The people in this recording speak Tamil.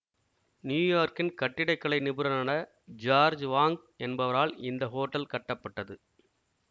நியூயார்க்கின் கட்டிடக் கலை நிபுணரான ஜார்ஜ் வாங்க் என்பவரால் இந்த ஹோட்டல் கட்டப்பட்டது